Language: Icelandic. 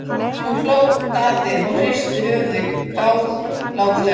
Nú hló Daði og hristi höfuðið góðlátlega.